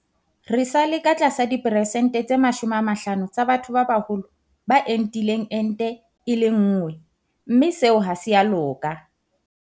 Re sa le ka tlasa diperesente tse 50 tsa batho ba baholo ba entileng ente e le nngwe mme seo ha se a loka.